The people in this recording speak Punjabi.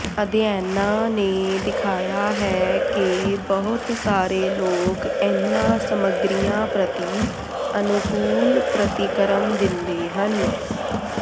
ਅਧਿਐਨਾਂ ਨੇ ਦਿਖਾਇਆ ਹੈ ਕਿ ਬਹੁਤ ਸਾਰੇ ਲੋਕ ਇਨ੍ਹਾਂ ਸਮੱਗਰੀਆਂ ਪ੍ਰਤੀ ਅਨੁਕੂਲ ਪ੍ਰਤੀਕਰਮ ਦਿੰਦੇ ਹਨ